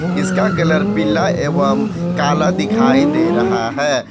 इसका कलर पीला एवं काला दिखाई दे रहा है।